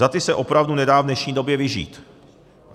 Za ty se opravdu nedá v dnešní době vyžít.